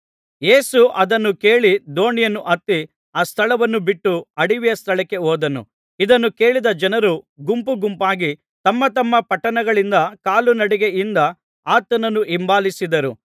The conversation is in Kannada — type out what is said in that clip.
ಯೇಸು ಅದನ್ನು ಕೇಳಿ ದೋಣಿಯನ್ನು ಹತ್ತಿ ಆ ಸ್ಥಳವನ್ನು ಬಿಟ್ಟು ಅಡವಿಯ ಸ್ಥಳಕ್ಕೆ ಹೋದನು ಇದನ್ನು ಕೇಳಿದ ಜನರು ಗುಂಪು ಗುಂಪಾಗಿ ತಮ್ಮ ತಮ್ಮ ಪಟ್ಟಣಗಳಿಂದ ಕಾಲುನಡಿಗೆಯಿಂದ ಆತನನ್ನು ಹಿಂಬಾಲಿಸಿದರು